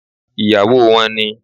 Ìyàwó wọn ni